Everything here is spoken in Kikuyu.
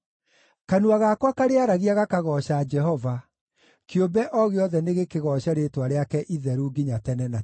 Kanua gakwa karĩaragia gakagooca Jehova. Kĩũmbe o gĩothe nĩgĩkĩgooce rĩĩtwa rĩake itheru nginya tene na tene.